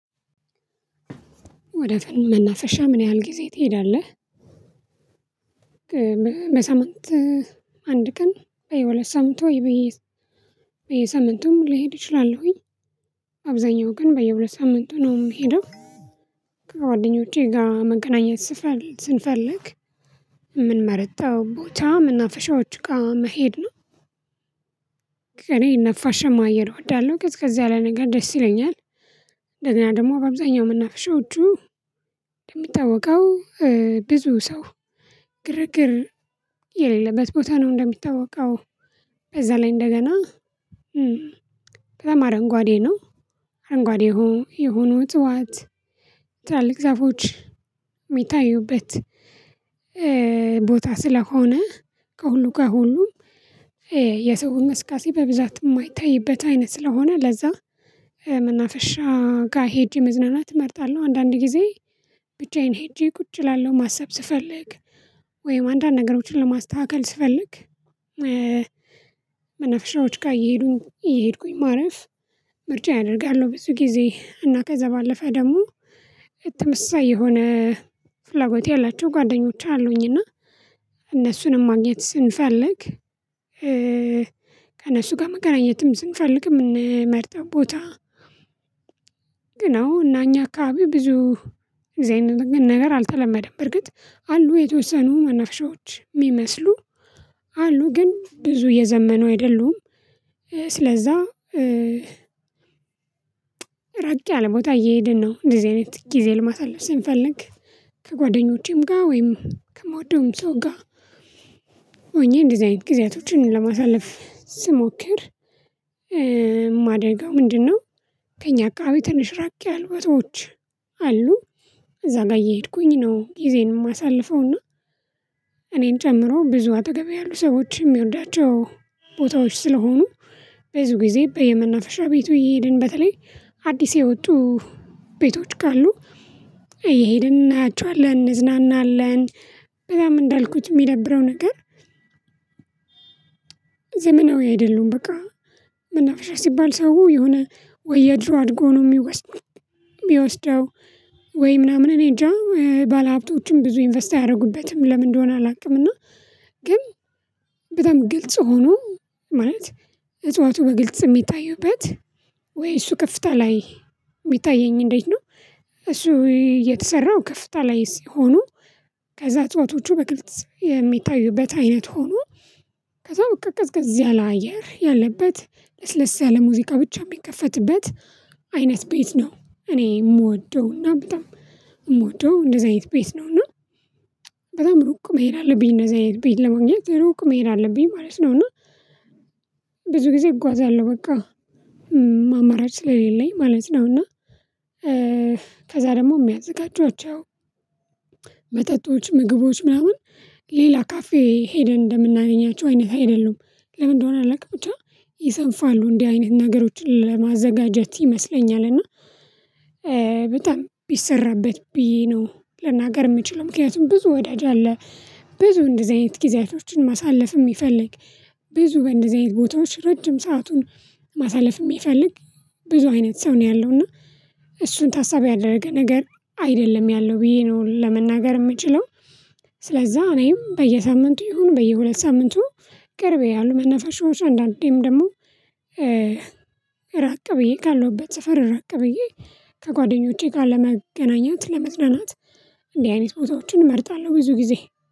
ወደ ፍልሙ መናፈሻ ምን ያህል ጊዜ ትሄዳለህ? በሳምንት አንድ ቀን በየሁለት ሳምንቱ ወይ በየ በየሳምንቱም ልሄድ እችላለሁኝ አብዛኛው ግን በየሁለት ሳምንቱ ነው የምሄደው። ከጓደኞቼ ጋር መገናኘት ስፈል ስንፈልግ የምንመርጠው ቦታ መናፋሻዎች ጋር መሄድ። ነው ነፋሻማ አየር እወዳለሁ ቀዝቀዝ ያለ ነገር ደስ ይለኛል። እንደገና ደግሞ በአብዛኛው መናፈሻዎቹ የሚታወቀው ብዙ ሰው ግርግር የሌለበት ቦታ ነው። እንደሚታወቀው ከዛ ላይ እንደገና ከዛም አረንጓዴ ነው። አረንጓዴ የሆ የሆኑ እጽዋት ትላልቅ ዛፎች የሚታዩበት ቦታ ስለሆነ ከሁሉ ከ ሁሉም የሰው እንቅስቃሴ በብዛት የማይታይበት አይነት ስለሆነ ለዛ መናፈሻ ጋር ሄጄ መዝናናት እመርጣለሁ። አንዳንድ ጊዜ ብቻዬን ሄጄ ቁጭ እላለሁ ማሰብ ስፈልግ ወይም አንዳንድ ነገሮችን ለማስተካከል ስፈልግ መናፍሻዎች ጋር እየሄዱኝ እየሄድኩኝ ማረፍ ምርጫዬ አደርጋለሁ። ብዙ ጊዜ እና ከዛ ባለፈ ደግሞ ተመሳሳይ የሆነ ፍላጎት ያላቸው ጓደኞች አሉኝ እና እነሱንም ማግኘት ስንፈልግ ከእነሱ ጋር መገናኘትም ስንፈልግ የምንመርጠው ቦታ። ግን አዎ እና እኛ አካባቢ ብዙ እደዚህ አይነት ነገር አልተለመደም በእርግጥ አሉ የተወሰኑ መናፈሻዎች የሚመስሉ አሉ ግን ብዙ የዘመኑ አይደሉም። ስለዛ ራቅ ያለ ቦታ እየሄድን ነው እንደዚህ አይነት ጊዜ ለማሳለፍ ስንፈልግ። ከጓደኞቼም ጋር ወይም ከምወደውም ሰው ጋር ሆኜ እንደዚህ አይነት ጊዜያቶችን ለማሳለፍ ስሞክር። የማደርገው ምንድነው? ከእኛ አከባቢ ትንሽ ራቅ ያሉ ቦታዎች አሉ እዛ ጋር እየሄድኩኝ ነው። ጊዜን የማሳልፈውና እኔን ጨምሮ ብዙ አጠገቤ ያሉ ሰዎች የሚወዳቸው ቦታዎች ስለሆኑ ብዙ ጊዜ በየመናፈሻ ቤቱ እየሄድን በተለይ አዲስ የወጡ ቤቶች ካሉ እየሄድን እናያቸዋለን እንዝናናለን። በጣም እንዳልኩት የሚደብረው ነገር ዘመናዊ አይደሉም በቃ። መናፈሻ ሲባል ሰው የሆነ ወይ የድሮ አድርጎ ነው ሚወስ ሚወስደው ወይ ምናምን እኔ እንጃ ባለሀብቶችም ብዙ ኢንቨስት አያደርጉበትም። ለምን እንደሆነ አላውቅምና። ግን በጣም ግልጽ ሆኖ ማለት እጽዋቱ በግልጽ የሚታየውበት ወይ እሱ ከፍታ ላይ የሚታየኝ እንዴት ነው? እሱ የተሰራው ከፍታ ላይ ሲሆኑ ከዛ እጽዋቶቹ በግልጽ የሚታዩበት አይነት ሆኖ። ከዛ በቃ ቀዝቀዝ ያለ አየር ያለበት ለስለስያለ ሙዚቃ ብቻ የሚከፈትበት አይነት ቤት ነው እኔ የምወደውና በጣም የምወደው እንደዚህ አይነት ቤት ነው። እና በጣም ሩቅ መሄድ አለብኝ እንደዚህ አይነት ቤት ለማግኘት ሩቅ መሄድ አለብኝ ማለት ነው። እና ብዙ ጊዜ እጓዛለሁ በቃ አማራጭ ስለሌለኝ ማለት ነው። እና ከዛ ደግሞ የሚያዘጋጇቸው መጠጦች ምግቦች ምናምን ሌላ ካፌ ሄደን እንደምናገኛቸው አይነት አይደሉም። ለምን እንደሆነ አላውቅም ብቻ ይሰንፋሉ እንዲህ አይነት ነገሮችን ለማዘጋጀት ይመስለኛል። እና በጣም ቢሰራበት ብዬ ነው ልናገር የምችለው ምክንያቱም ብዙ ወዳጅ አለ። ብዙ እንደዚህ አይነት ጊዜያቶችን ማሳለፍ የሚፈልግ ብዙ በእንደዚህ አይነት ቦታዎች ረጅም ሰአቱን ማሳለፍ የሚፈልግ ብዙ አይነት ሰው ነው ያለው እና እሱን ታሳቢ ያደረገ ነገር አይደለም ያለው ብዬ ነው ለመናገር የምችለው። ስለዛ እኔም በየሳምንቱ ይሁን በየሁለት ሳምንቱ ቅርብ ያሉ መነፋሻዎች አንዳንዴም ደግሞ ራቅ ብዬ ካለሁበት ሰፈር ራቅ ብዬ ከጓደኞቼ ጋር ለመገናኘት ለመዝናናት እንዲህ አይነት ቦታዎችን እመርጣለሁ። ብዙ ጊዜ